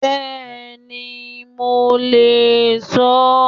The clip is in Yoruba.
Bẹ́ẹ̀ni, mo le sọ ó